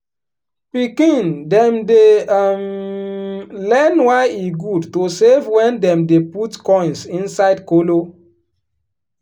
pikin dem dey um learn why e good to save wen dem dey put coins inside kolo.